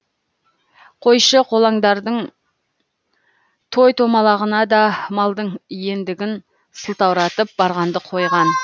қойшы қолаңдардың той томалағына да малдың иендігін сылтауратып барғанды қойған